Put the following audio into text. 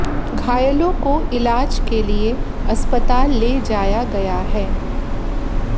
घायलों को इलाज के लिए अस्पताल ले जाया गया है